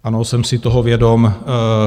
Ano, jsem si toho vědom.